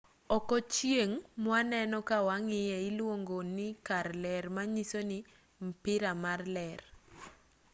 oko chieng' mwaneno ka wang'iye iluongoni kar ler monyisoni mpira mar ler